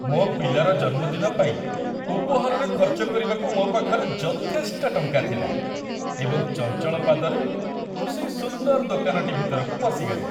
ମୋ ପିଲାର ଜନ୍ମଦିନ ପାଇଁ ଉପହାରରେ ଖର୍ଚ୍ଚ କରିବାକୁ ମୋ ପାଖରେ ଯଥେଷ୍ଟ ଟଙ୍କା ଥିଲା ଏବଂ ଚଞ୍ଚଳ ପାଦରେ ମୁଁ ସେଇ ସୁନ୍ଦର ଦୋକାନଟି ଭିତରକୁ ପଶିଗଲି।